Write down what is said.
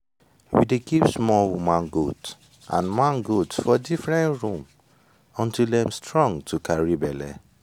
we dey keep small woman goat and man goat for different room until dem strong to carry belle